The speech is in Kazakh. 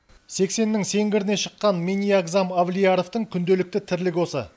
сексеннің сеңгіріне шыққан минниагзам авлияровтың күнделікті тірлігі осы